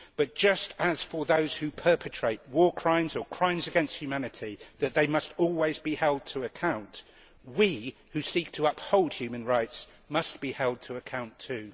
But just as those who perpetrate war crimes or crimes against humanity must always be held to account, we who seek to uphold human rights must be held to account too.